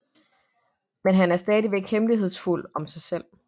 Man han er stadig hemmelighedsfuld om sig selv